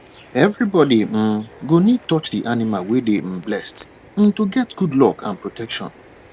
everybody um go need touch the animal wey dey um blessed um to get good luck and protection